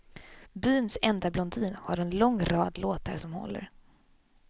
Byns enda blondin har en lång rad låtar som håller.